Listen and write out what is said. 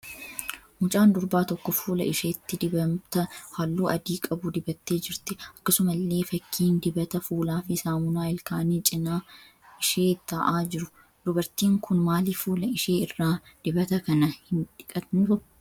Mucaan durbaa tokko fuula isheetti dibata halluu adii qabu dibattee jirti. Akkasumallee fakkiin dibata fuulaa fi saamunaa ilkaanii cina ishee ta'aa jiru. Dubartiin kun maaliif fuula ishee irraa dibata kana hin dhigattu?